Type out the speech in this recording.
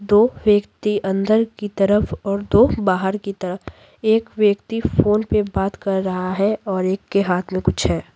दो व्यक्ति अंदर की तरफ और दो बाहर की तरफ एक व्यक्ति फोन पे बात कर रहा है और एक के हाथ में कुछ है।